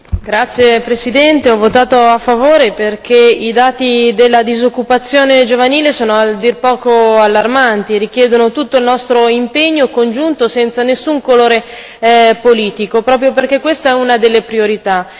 Signor Presidente, onorevoli colleghi, ho votato a favore perché i dati della disoccupazione giovanile sono a dir poco allarmanti e richiedono tutto il nostro impegno congiunto, senza nessun colore politico, proprio perché questa è una delle priorità.